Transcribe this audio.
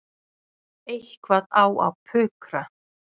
Eitthvað á að pukra.